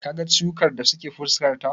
Ka ga ciwukan da suke fuskarta?